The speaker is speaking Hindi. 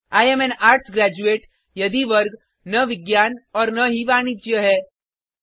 I am an arts graduate यदि वर्ग न विज्ञान और न ही वाणिज्य है